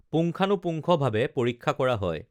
পুংখানোপূংখ ভাৱে পৰীক্ষা কৰা হয়